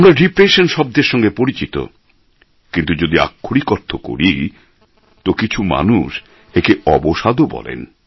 আমরা ডিপ্রেশন শব্দের সঙ্গে পরিচিত কিন্তু যদি আক্ষরিক অর্থ করি তো কিছু মানুষ একে অবসাদও বলেন